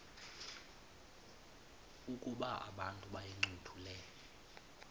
ukuba abantu bayincothule